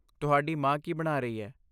ਤੁਹਾਡੀ ਮਾਂ ਕੀ ਬਣਾ ਰਹੀ ਹੈ?